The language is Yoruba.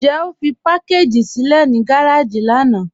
Njẹ́ o fí pakàgì sílẹ̀ ní gàràjì lànà?